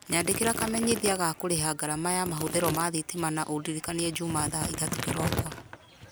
nyandikĩra kamenyithia ga kũrĩha ngarama ya mahũthĩrwo ma thitima na ũndirikanie njuma thaa ithatũ kĩroko